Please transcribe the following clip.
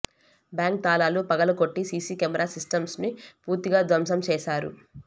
bank తాళాలు పగలు కొట్టి సిసి కెమెరా సిస్టమ్స్ను పూర్తిగా ధ్వంసం చేశారు